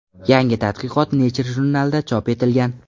Yangi tadqiqot Nature jurnalida chop etilgan.